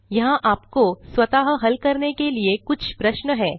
यहाँ आपको स्वतः हल करने के लिए कुछ प्रश्न हैं